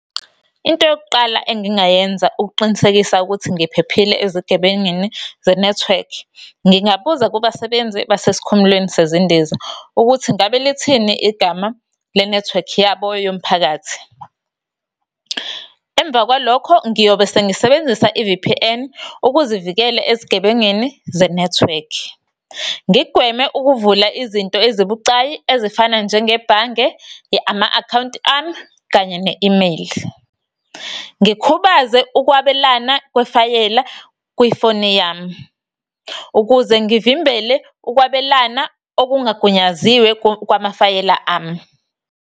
Into yokuqala engingayenza ukuqinisekisa ukuthi ngiphephile ezigebengini ze-network, ngingabuza kubasebenzi basesikhumulweni sezindiza, ukuthi ngabe lithini igama lenethiwekhi yabo yomphakathi. Emva kwalokho ngiyobe sengisebenzisa, i-V_P_N, ukuzivikela ezigebengini zenethiwekhi. Ngikugweme ukuvula izinto ezibucayi, ezifana njengebhange, ama-akhawunti ami, kanye ne-imeyili. Ngikhubaze ukwabelana kwefayela kwifoni yami, ukuze ngivimbele ukwabelana okungagunyaziwe kwamafayela ami.